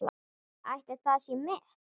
Ætli það sé met?